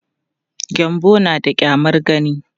Gyanbo na da ƙyamar gani.